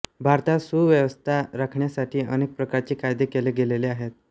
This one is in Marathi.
भारतात सुव्यवस्था राखण्यासाठी अनेक प्रकारचे कायदे केले गेलेले आहेत